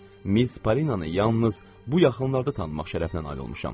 Miz Parinanı yalnız bu yaxınlarda tanımaq şərəfinə nail olmuşam.